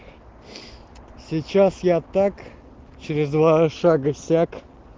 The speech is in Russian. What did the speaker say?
сейчас я так через два шага сяк